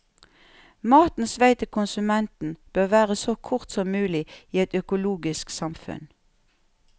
Matens vei til konsumenten bør være så kort som mulig i et økologisk samfunn.